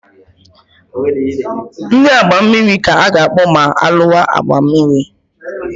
Ndị agha mmiri ka a ga-akpọ ma alụwa agha mmiri.